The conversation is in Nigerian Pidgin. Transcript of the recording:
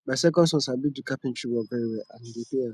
my second son sabi do carpentry work very well and e dey pay am